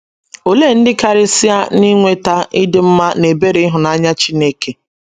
Olee ndị karịsịa na - enweta ịdị mma na ebere ịhụnanya Chineke?